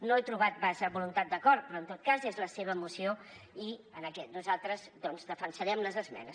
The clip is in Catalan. no he trobat massa voluntat d’acord però en tot cas és la seva moció i nosaltres doncs defensarem les esmenes